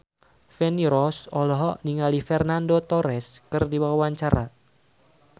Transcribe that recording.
Feni Rose olohok ningali Fernando Torres keur diwawancara